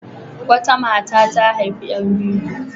Wata mata ta haifi ƴan biyu.